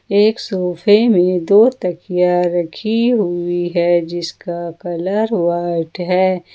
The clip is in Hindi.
एक सोफे में दो तकिया रखी हुई है जिसका कलर व्हाइट है।